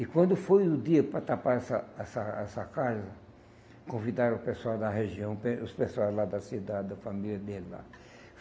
E quando foi o dia para tapar essa essa essa casa, convidaram o pessoal da região, o pe os pessoal lá da cidade, da família deles lá.